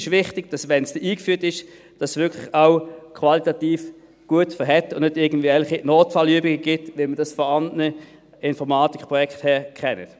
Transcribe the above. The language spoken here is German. Für uns ist wichtig, dass es, wenn es eingeführt ist, wirklich auch qualitativ gut ist und es nicht irgendwelche Notfallübungen gibt, wie wir sie von anderen Informatikprojekten her kennen.